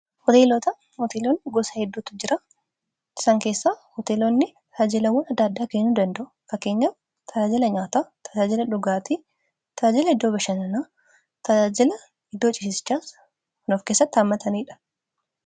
Hoteeloonni gosa hedduutu jira. Isaan keessa hoteeloonni taajilawwan adda addaa kennuu danda'u. Fakkeenyaaf tajaajila nyaataa tajaajila dhugaatii, tajaajila iddoo bashaanaa, tajaajila iddoo cisichaas kan of keessatti haammataniidha.